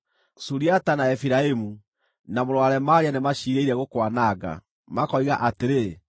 Suriata, na Efiraimu, na mũrũ wa Remalia nĩmaciirĩire gũkwananga, makoiga atĩrĩ,